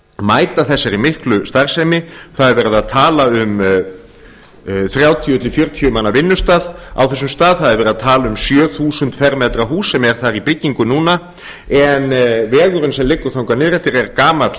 mæta þessari miklu starfsemi það er verið að tala um þrjátíu til fjörutíu manna vinnustað á þessum stað það er verið að tala um sjö þúsund fermetra hús sem er þar í byggingu núna en vegurinn sem liggur þangað niður eftir er gamall